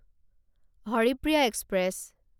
Haripriya express